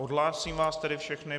Odhlásím vás tedy všechny.